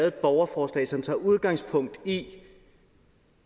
et borgerforslag som tager udgangspunkt i